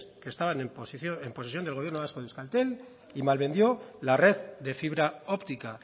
que estaban en posesión del gobierno vasco de euskaltel y malvendió la red de fibra óptica